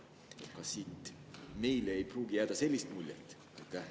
" Kas siit ei või jääda sellist muljet?